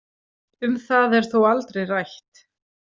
Um það er þó aldrei rætt.